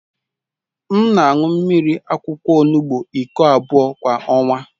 M na-aṅụ mmiri akwụkwọ olugbu iko abụọ kwa ọnwa.